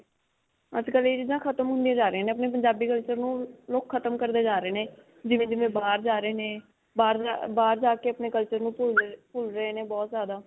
ਅੱਜ ਕਲ੍ਹ ਇਹ ਚੀਜ਼ਾਂ ਖਤਮ ਹੁੰਦੀਆਂ ਜਾ ਰਹੀਆਂ ਨੇ. ਆਪਣੇ ਪੰਜਾਬੀ culture ਨੂੰ ਲੋਕ ਖਤਮ ਕਰਦੇ ਜਾ ਰਹੇ ਨੇ, ਜਿਵੇਂ-ਜਿਵੇਂ ਬਾਹਰ ਜਾ ਰਹੇ ਨੇ, ਬਾਹਰ ਜਾ, ਬਾਹਰ ਜਾ ਕੇ ਆਪਣੇ culture ਨੂੰ ਭੁੱਲ ਰਹੇ, ਭੁੱਲ ਰਹੇ ਨੇ ਬਹੁਤ ਜਿਆਦਾ.